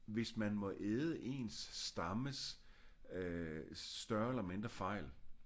Hvis man må æde ens stammes øh større eller mindre fejl